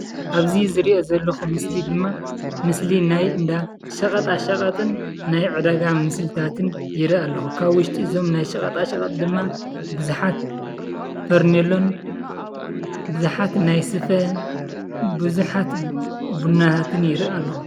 ኣብዚ ዝሪኦ ዘለኩ ምስሊ ድማ ምስሊ ናይ እንዳ ሸቀጣሸቀጥን ናይ ዕዳጋን ምስልታትን ይርኢ ኣለኩ ። ካብ ዉሽጢ እዞም ናይ ሸቀጣሽቀጥ ድማ ብዙሓት ፈርኔሎን ብዙሓት ናይ ስፈ ቡዙሓት ቡናታትን ይርኢ ኣለኩ።